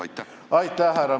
Aitäh, härra Milling!